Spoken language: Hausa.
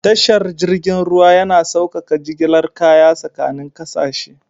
Tashar jirgin ruwa yana saukaka jigilar kaya tsakanin kasashe.